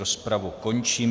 Rozpravu končím.